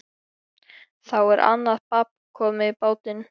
Þá er annað babb komið í bátinn.